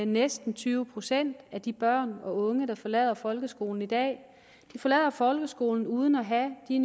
næsten tyve procent af de børn og unge der forlader folkeskolen i dag forlader folkeskolen uden at have de